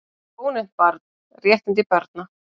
Ónefnt barn: Réttindi barna.